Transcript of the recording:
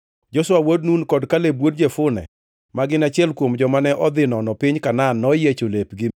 Joshua wuod Nun kod Kaleb wuod Jefune, ma gin achiel kuom joma ne odhi nono piny Kanaan, noyiecho lepgi